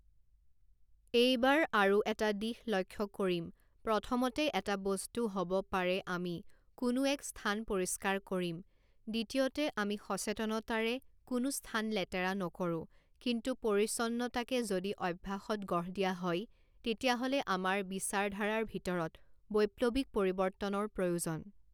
এই বাৰ আৰু এটা দিশ লক্ষ্য কৰিম প্ৰথমতে এটা বস্তু হ'ব পাৰে আমি কোনো এক স্থান পৰিষ্কাৰ কৰিম, দ্বিতীয়তে, আমি সচেতনতাৰে কোনো স্থান লেতেৰা নকৰোঁ, কিন্তু পৰিচ্ছন্নতাকে যদি অভ্যাসত গঢ় দিয়া হয়, তেতিয়াহ'লে আমাৰ বিচাৰধাৰাৰ ভিতৰত বৈপ্লৱিক পৰিৱৰ্তনৰ প্ৰয়োজন।